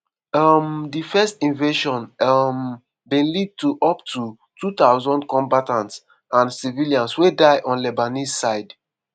um dis first invasion um bin lead to up to 2000 combatants and civilians wey die on lebanese side.